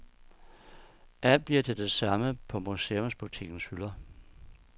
Alt bliver til det samme på museumsbutikkens hylder.